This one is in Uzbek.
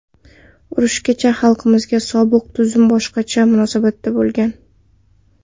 Urushgacha xalqimizga sobiq tuzum boshqacha munosabatda bo‘lgan.